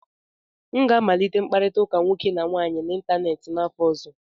M ga-amalite mkpakọrịta nwoke na nwaanyị n'ịntanetị n'afọ ọzọ.